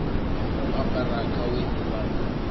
u ambara gaweni ḽa u